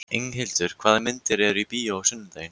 Inghildur, hvaða myndir eru í bíó á sunnudaginn?